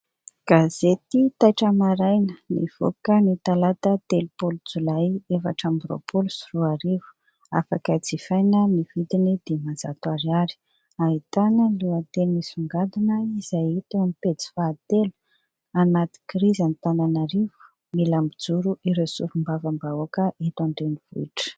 Gazety Taitra Maraina nivoaka ny talata telopolo jolay efatra amby roapolo sy roarivo, afaka jifaina amin'ny vidiny dimanjato ariary, ahitana lohateny misongadina izay hita eo amin'ny pejy fahatelo : Anaty krizy Antananarivo, mila mijoro ireo solombavambahoaka eto an-drenivohitra.